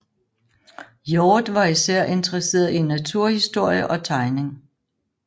Hjorth var især interesseret i naturhistorie og tegning